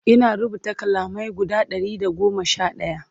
Ina rubuta kalamai guda Ɗari da goma Sha ɗaya